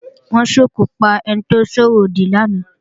Wọ́n sòkò pa ẹni tó sọ̀rọ̀ òdì lánàá